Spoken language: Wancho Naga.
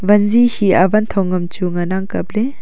wanji hiya wanthong ngam chu ngan ang kaple.